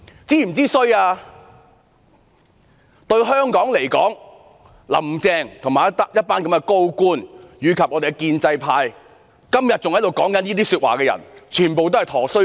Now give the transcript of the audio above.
主席，對香港來說，"林鄭"、一眾高官、建制派及到今天還在說這些話的人全也是"佗衰家"。